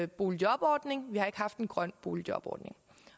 boligjobordning vi har ikke haft en grøn boligjobordning